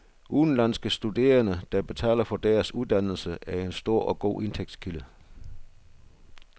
Udenlandske studerende, der betaler for deres uddannelser, er en stor og god indtægtskilde.